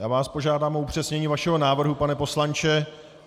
Já vás požádám o upřesnění vašeho návrhu, pane poslanče.